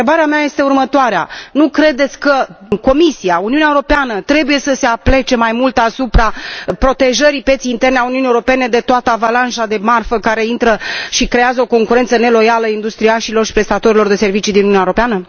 Și întrebarea mea este următoarea nu credeți că Comisia, Uniunea Europeană trebuie să se aplece mai mult asupra protejării pieței interne a Uniunii Europene de toată avalanșa de marfă care intră și creează o concurență neloială industriașilor și prestatorilor de servicii din Uniunea Europeană?